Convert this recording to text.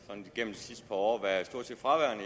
sidste par år været stort set fraværende